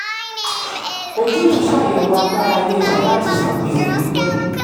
ojútùú ṣàyẹ̀wò agbára ilé-iṣẹ́ láti san gbèsè pípẹ́.